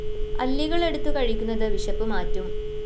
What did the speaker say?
അല്ലികളെടുത്ത് കഴിക്കുന്നത് വിശപ്പ് മാറ്റും